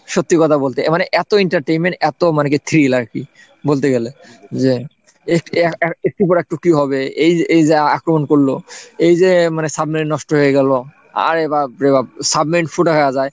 সত্যি কথা বলতে মানে এতো entertainment এতো মানে কি thrill আর কি বলতে গেলে যে একটু পরে টুকি হবে এই যে এই যে আক্রমণ করলো এই যে মানে সামনে নষ্ট হয়ে গেল আরে বাপরে বাপ সাবমেরিন ফুটো হওয়া যায়,